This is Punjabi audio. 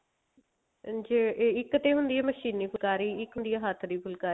ਹਾਂਜੀ ਇੱਕ ਤੇ ਹੁੰਦੀ ਆ ਮਸ਼ੀਨੀ ਫੁਲਕਾਰੀ ਇੱਕ ਹੁੰਦੀ ਆ ਹੱਠ ਦੀ ਫੁਲਕਾਰੀ